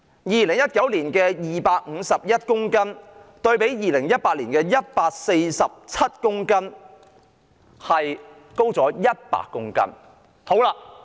2019年檢獲冰毒約251公斤，較2018年的約147公斤上升約100公斤。